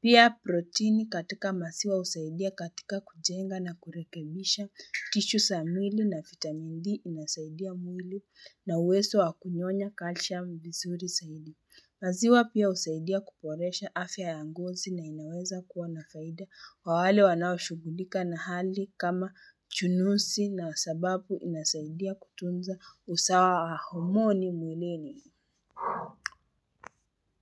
Pia proteini katika maziwa husaidia katika kujenga na kurekebisha, tishu za mwili na vitamin D inasaidia mwili na uwezo wa kunyonya calcium vizuri zaidi. Maziwa pia husaidia kuboresha afya ya ngozi na inaweza kuwa nafaida kwa wale wanao shughulika na hali kama chunusi na sababu inasaidia kutunza usawa wa homoni mwilini.